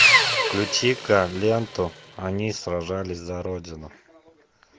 включи ка ленту они сражались за родину